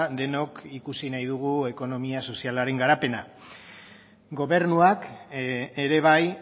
denok ikusi nahi dugu ekonomia sozialaren garapena gobernuak ere bai